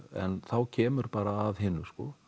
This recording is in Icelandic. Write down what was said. en þá kemur bara að hinu